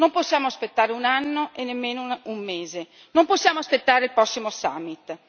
Non possiamo aspettare un anno e nemmeno un mese, non possiamo aspettare il prossimo summit